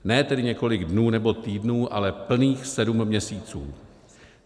Ne tedy několik dnů nebo týdnů, ale plných sedm měsíců.